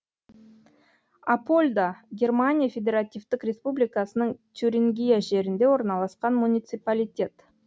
апольда германия федеративтік республикасының тюрингия жерінде орналасқан муниципалитет